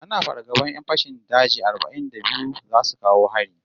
Ana fargaban 'yan fashin daji arba'in da biyu zasu kawo hari